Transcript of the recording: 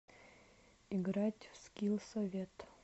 играть в скилл совет